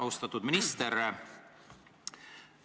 Austatud minister!